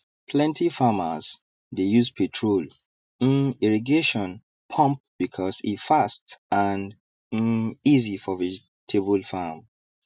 plenty farmers dey use petrol um irrigation pump because e fast and um easy for vegetable farm